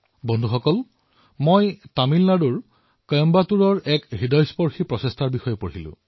বন্ধুসকল মই তামিলনাডুৰ কইম্বাটুৰৰ এক হৃদয়স্পৰ্শী প্ৰয়াসৰ বিষয়ে পঢ়িলো